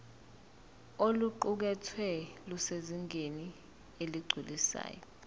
oluqukethwe lusezingeni eligculisayo